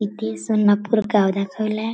इथे सोंनपुर गाव दाखवलाय.